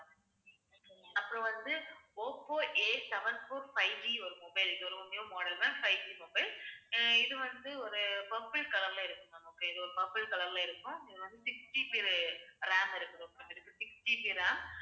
அப்புறம் வந்து Oppo Aseven four fiveG ஒரு mobile இது ஒரு new model ma'am fiveGmobile. ஆஹ் இது வந்து ஒரு purple color ல இருக்கும் ma'am okay இது ஒரு purple color ல இருக்கும். இது வந்து 6GB RAM இருக்கும் sixGBram